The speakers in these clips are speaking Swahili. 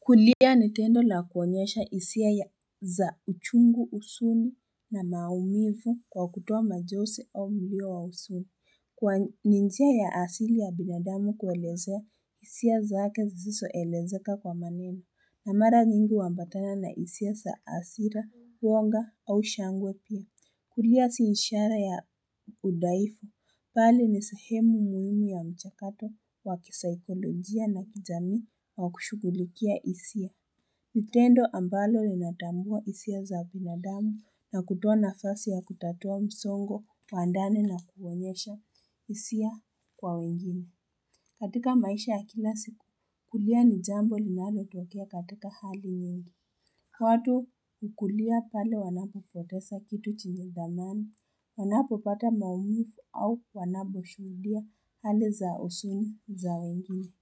Kulia nitendo la kuwanyesha hisia ya za uchungu usuni na maumifu kwa kutoa majose au milio wa husuni Kwa ninjia ya asili ya binadamu kuwelezea hisia zake ziziso elezeka kwa manemu na mara nyingi umbatana na hisia za asira huonga au shangwe pia Kulia siishara ya udaifu, pali ni sahemu muhimu ya mchakato wa kisaikolojia na kijami wa kushukulikia isia. Nitendo ambalo linatambua isia za binadamu na kutoa nafasi ya kutatua msongo kwa andani na kuonyesha hisia kwa wengine. Katika maisha ya kilasi, kulia ni jambo linale tuwakia katika hali nyingi. Watu ukulia pale wanapapotesa kitu chenge dhamani, wanapopata mawipu au kwanaboshudia hale za usuni za wengine.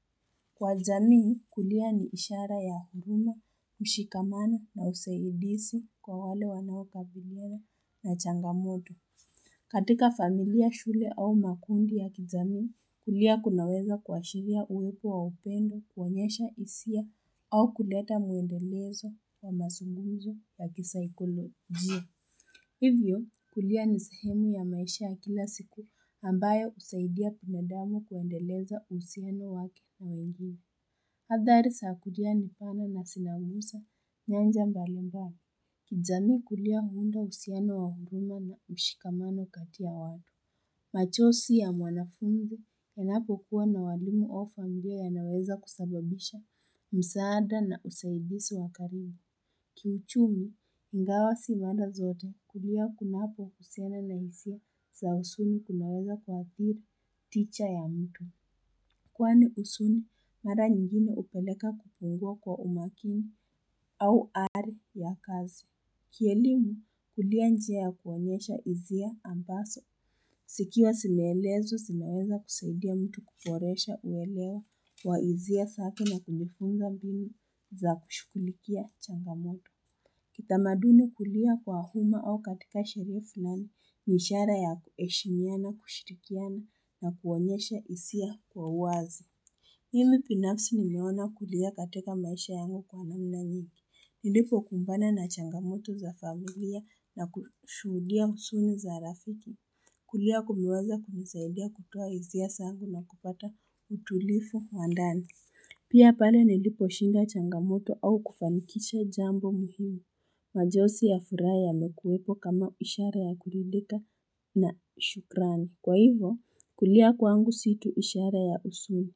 Kwa zamii, kulia ni ishara ya huduma, mshikamani na useidisi kwa wale wanapabilia na changamoto. Katika familia shule au makundi ya kijamii kulia kunaweza kuashiria uwepo wa upendo kuwanyesha hisia au kuleta muendelezo wa masungunzo wa kisaikolojia. Hivyo kulia ni sehemu ya maisha ya kila siku ambaye usaidia pinedamo kuendeleza usiano wake wa wengi. Hadhari sakulia ni pana na sinawusa nyanja mbalimbali. Kijamii kulia huunda usiano wahuguna na ushikamano katia wadu macho si ya mwanafungu wanapo kuwa na walimu ofangia ya naweza kusababisha msaada na usahidisi wakaribu Kiuchumi, ingawa si mada zote kulia kuna hapo kusiana na isia za husuni kunaweza kwa apiri ticha ya mtu Kwa ni husuni, mada nyingine upeleka kupungua kwa umakini au ari ya kazo Kielimu kulia njia ya kuwanyesha izia ambaso. Sikiwa sineelezo sinaeza kusaidia mtu kuporesha uelewa wa izia safi na kulifunga bini za kushukulikia changamoto. Kitamaduni kulia kwa huma au katika sherifu nani nishara ya kueshimia na kushirikia na kuwanyesha isia kwa wazi. Mimi binafsi nimeona kulia katika maisha yangu kwa mami na nini. Nilipokumbana na changamoto za familia na kushudia usuni za rafiki. Kulia kuliweza kumisahidia kutoa izia sangu na kupata utulifu wandani. Pia pale niliposhindwa changamoto au kufanikisha jambo muhimu Majosi ya furaha mekuwepo kama ushara ya kulidika na shukrani. Kwa hivo kulia kwangu situ ishara ya husuni.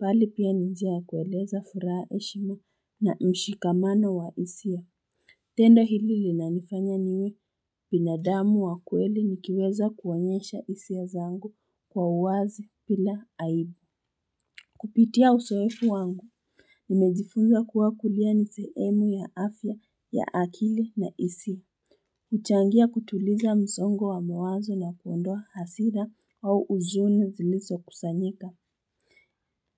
Bali pia nijia kueleza furaha heshimu na mshikamano wa isi ya tendo hili linanifanya niwe binadamu wa kweli nikiweza kuwanyesha hisia zangu kwa uwazi pila aibu Kupitia uzoefu wangu Nimejifunza kuwa kulia ni sehemu ya afya ya akili na isi uchangia kutuliza msongo wa mwazo na kuondoa hasira au uzuni zilizokusanyika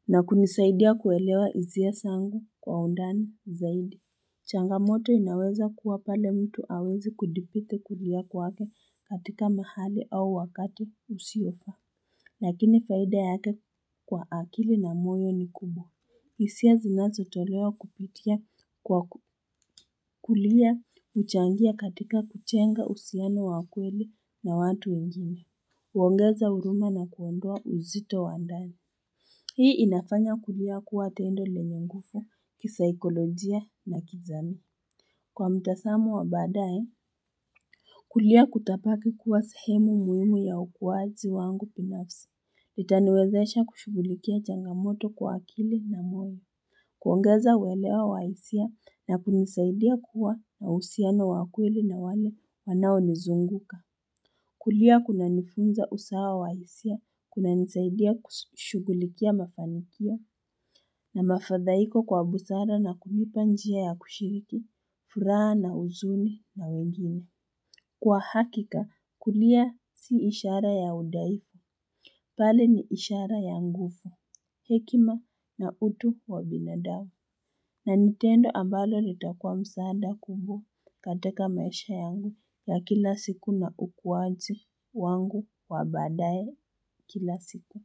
na kunisaidia kuelewa hisia zangu kwa undani zaidi. Changamoto inaweza kuwa pale mtu hawezi kudipite kulia kwa katika mahali au wakatu usiofa. Lakini faida yake kwa akili na moyo ni kubwa. Hisia zinazo tolewa kupitia kwa kulia uchangia katika kuchenga usiano wakweli na watu ingine. Uongeza huruma na kuondoa uzito wa ndani. Hii inafanya kulia kuwa tendo lenye nguvu, kisaikolojia na kizani. Kwa mtasamu wa badae, kulia kutapaki kuwa sahimu muhimu ya ukuwazi wangu binafsi. Litaniwezaisha kushughulikia changamoto kwa akili na mwili. Kuangaza welewa wa hisia na kunisaidia kuwa na usiano wa kweli na wale wanaonizunguka. Kulia kunanifunza usawa wa hisia, kuna nisaidia kushugulikia mafanikia, na mafadhaiko kwa busara na kumipanjia ya kushiriki, furaha na uzuni mawegini. Kwa hakika, kulia si ishara ya udaiko, pale ni ishara ya nguvu, hekima na utu wa binadamu. Na nintendo ambalo litakua msaada kubwa katika maisha yangu ya kila siku na ukuwaji wangu wa baadaye kila siku.